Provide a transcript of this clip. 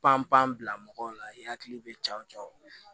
Panpan bila mɔgɔw la i hakili bɛ ja jɔ